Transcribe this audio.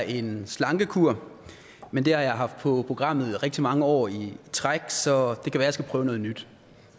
en slankekur men det har jeg haft på programmet i rigtig mange år i træk så det kan være jeg skal prøve noget nyt